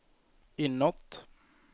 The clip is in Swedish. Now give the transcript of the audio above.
inåt